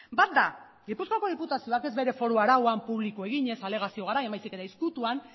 bat da gipuzkoako diputazioak ez bere foru arauan publiko eginez alegazio garaian baizik eta ezkutuan